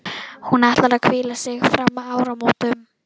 Hún ætlar að hvíla sig fram að áramótum.